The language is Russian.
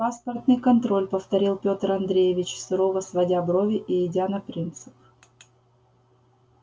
паспортный контроль повторил петр андреевич сурово сводя брови и идя на принцип